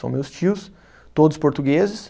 São meus tios, todos portugueses.